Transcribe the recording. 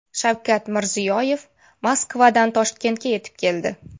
Shavkat Mirziyoyev Moskvadan Toshkentga yetib keldi.